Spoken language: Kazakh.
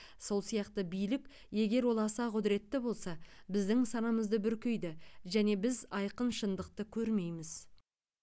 сол сияқты билік егер ол аса құдыретті болса біздің санамызды бүркейді және біз айқын шындықты көрмейміз